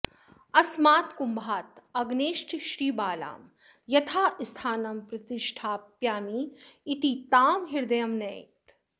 अस्मात्कुम्भात् अग्नेश्च श्रीबालां यथास्थानं प्रतिष्ठापयामि इति तां हृदयं नयेत्